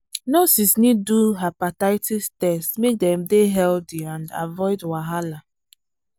nurses need do hepatitis test make dem dey healthy and avoid wahala.